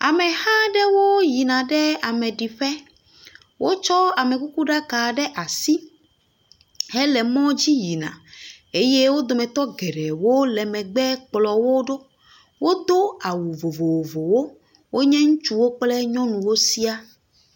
Ameha aɖewo yina ɖe ameɖiƒe, wotsɔ amekukuɖaka ɖe asi hele mɔ dzi yina eye wo dometɔ geɖewo le megbe kplɔ wo ɖo, wodo awu vovovowo. Wonye ŋutsuwo kple nyɔnuwo siaa.